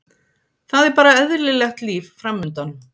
Það er bara eðlilegt líf framundan.